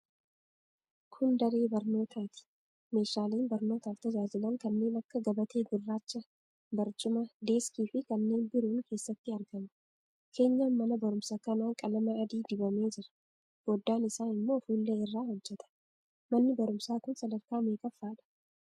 Kun daree barnootaati. Meeshaaleen barnootaaf tajaajilan kanneen akka gabatee gurraacha, barcuma, deeskiifi kanneen biroon keessatti argamu. Keenyan mana barumsaa kanaa qalama adii dibamee jira. Foddaan isaa immoo fuullee irraa hojjetame. Manni barumsaa kun sadarkaa meeqaffaadha?